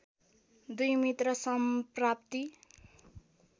२ मित्रसम्प्राप्ति